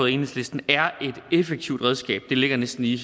enhedslisten er et effektivt redskab det ligger ligesom i